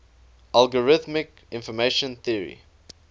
algorithmic information theory